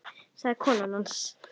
sagði kona hans.